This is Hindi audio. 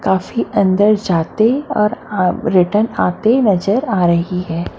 काफी अंदर जाते और रिटर्न आते नजर आ रहे है।